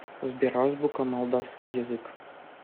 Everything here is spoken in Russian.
сбер азбука молдавский язык